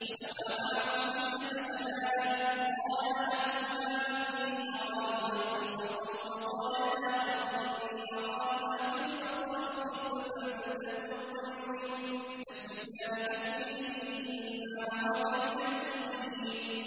وَدَخَلَ مَعَهُ السِّجْنَ فَتَيَانِ ۖ قَالَ أَحَدُهُمَا إِنِّي أَرَانِي أَعْصِرُ خَمْرًا ۖ وَقَالَ الْآخَرُ إِنِّي أَرَانِي أَحْمِلُ فَوْقَ رَأْسِي خُبْزًا تَأْكُلُ الطَّيْرُ مِنْهُ ۖ نَبِّئْنَا بِتَأْوِيلِهِ ۖ إِنَّا نَرَاكَ مِنَ الْمُحْسِنِينَ